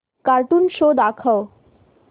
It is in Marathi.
कार्टून शो दाखव